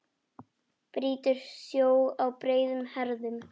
Brýtur sjó á breiðum herðum.